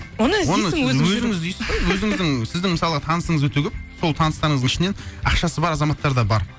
өзің іздейсің ғой өзіңіздің сіздің мысалғы танысыңыз өте көп сол таныстарыңыздың ішінен ақшасы бар азаматтар да бар